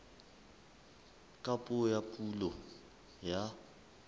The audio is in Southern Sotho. ka puo ya pulo ya